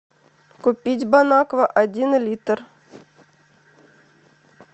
купить бонаква один литр